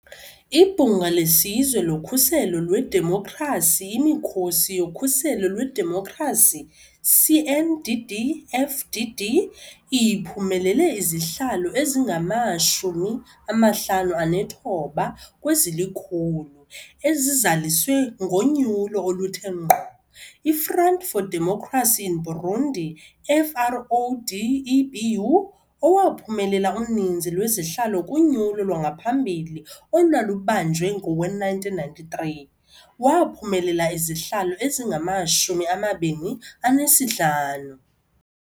IBhunga leSizwe loKhuselo lweDemokhrasi-Imikhosi yoKhuselo lweDemokhrasi, CNDD-FDD, iphumelele izihlalo ezingama-59 kwezili-100 ezizaliswe ngonyulo oluthe ngqo. I-Front for Democracy in Burundi, FRODEBU, owaphumelela uninzi lwezihlalo kunyulo lwangaphambili olwalubanjwe ngowe-1993, waphumelela izihlalo ezingama-25.